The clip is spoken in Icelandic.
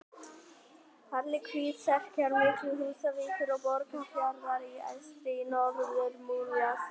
Fjallið Hvítserkur milli Húsavíkur og Borgarfjarðar eystri í Norður-Múlasýslu.